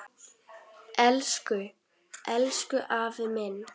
Elsku, elsku afi minn.